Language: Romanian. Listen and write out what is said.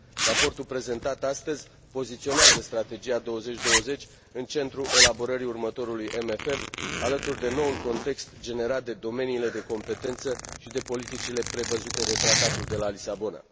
Raportul prezentat astăzi poziționează Strategia 2020 în centrul elaborării următorului CFM, alături de noul context generat de domeniile de competență și de politicile prevăzute de Tratatul de la Lisabona.